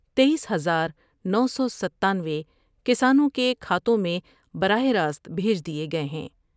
تئیس ہزار نو سو ستانوے کسانوں کے کھاتوں میں براہ راست بھیج دیئے گئے ہیں ۔